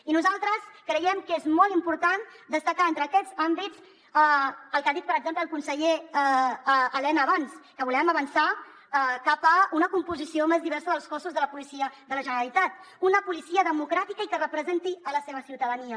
i nosaltres creiem que és molt important destacar entre aquests àmbits el que ha dit per exemple el conseller elena abans que volem avançar cap a una composició més diversa dels cossos de la policia de la generalitat una policia democràtica i que representi la seva ciutadania